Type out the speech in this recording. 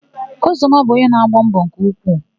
Ụzọnna bụ ọnye na-agba mbọ nke ukwuu.